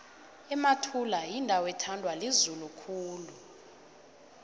emathula yindawo ethandwa lizulu khulu